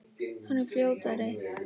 Hann er fljótari.